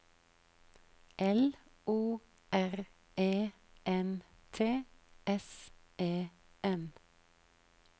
L O R E N T S E N